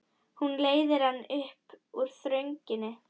Hún leiðir hann út úr þrönginni.